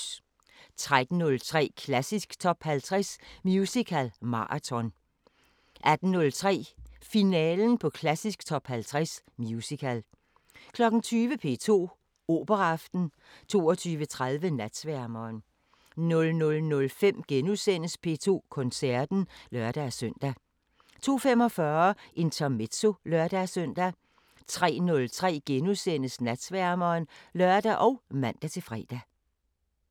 13:03: Klassisk Top 50 Musical marathon 18:03: Finalen på Klassisk Top 50 Musical 20:00: P2 Operaaften 22:30: Natsværmeren 00:05: P2 Koncerten *(lør-søn) 02:45: Intermezzo (lør-søn) 03:03: Natsværmeren *(lør og man-fre)